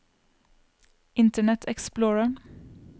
internet explorer